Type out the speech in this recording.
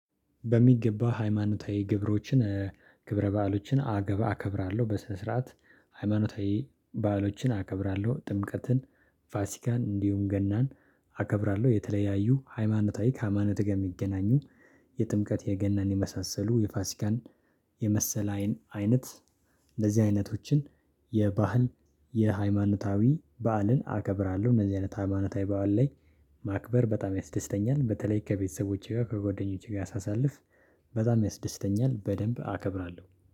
በሚገባ ሃይማኖታዊ ግብሮችን ክብረ በዓሎችን አገባ አከብራለሁ በስነ ስርዓት ሃይማኖታዊ ባዕሎችን አከብራለሁ ጥምቀትን ፋሲካን እንዲሁም ገናን አከብራለሁ። የተለያዩ ሃይማኖታዊ ከሃይማኖት ጋር ሚገናኙ የጥምቀት የገናን የመሳሰሉ የፋሲካን የመሰለ አይን አይነት እንደዚህ አይነቶችን የባህል የሃይማኖታዊ በዓልን አከብራለሁ። እንደዚህ አይነት ሃይማኖታዊ በዓል ላይ ማክበር በጣም ያስደስተኛል። በተለይ ከቤተሰቦቼ ጋር ከጓደኞቼ ጋር ሳሳልፍ በጣም ያስደስተኛል። በደንብ አከብራለሁ